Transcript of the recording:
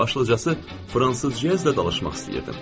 Başlıcası fransızcazla danışmaq istəyirdim.